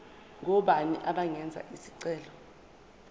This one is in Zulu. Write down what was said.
ngobani abangenza isicelo